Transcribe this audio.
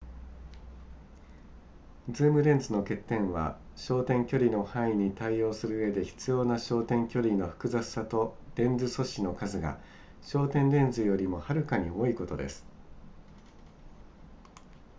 ズームレンズの欠点は焦点距離の範囲に対応するうえで必要な焦点距離の複雑さとレンズ素子の数が焦点レンズよりもはるかに多いことです